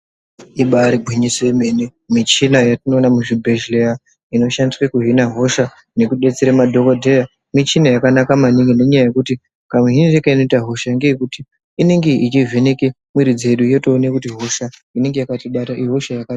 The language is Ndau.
Ibari gwinyiso yemene, michina yatinoona muzvi bhedhlera ino shandiswa kuhina hosha nekudetsera madhokodheya, michina yakanaka maningi nenyaya yekuti kamuhinire keinoita hosha ngekekuti inenge ichivheneke mwiri dzedu yotoona kuti hosha inenge yakatibata ihosha yakati.